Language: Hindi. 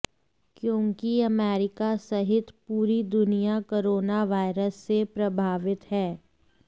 क्योंकि अमेरिका सहित पूरी दुनिया कोरोना वायरस से प्रभावित है